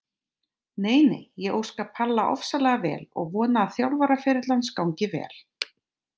Nei nei, ég óska Palla ofsalega vel og vona að þjálfaraferill hans gangi vel.